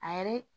A yɛrɛ